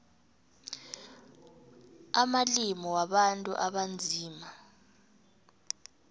amalimi wabantu abanzima